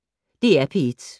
DR P1